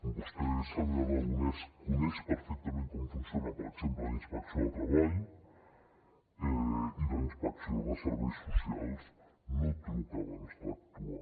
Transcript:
vostè senyor aragonès coneix perfectament com funciona per exemple la inspecció de treball i la inspecció de serveis socials no truca abans d’actuar